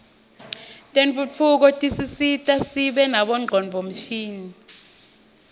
tentfutfuko tisisita sibe nabo ngcondvomshini